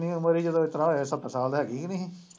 ਕਿੰਨੀ ਉਮਰ ਹੀ ਜਦੋਂ ਇਤਲਾ ਹੋਇਆ ਹੀ ਸੱਤਰ ਸਾਲ ਹੈਗੀ ਹੀ ਨਹੀਂ।